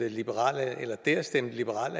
at liberal